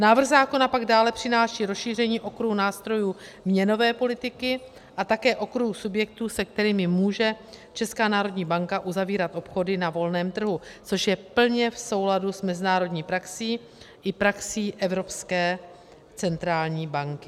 Návrh zákona pak dále přináší rozšíření okruhu nástrojů měnové politiky a také okruhu subjektů, se kterými může Česká národní banka uzavírat obchody na volném trhu, což je plně v souladu s mezinárodní praxí i praxí Evropské centrální banky.